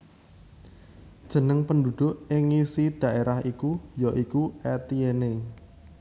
Jeneng penduduk ing ngisi daerah iku ya iku Etienne